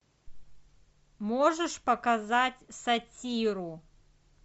можешь показать сатиру